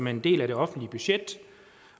en del af det offentlige budget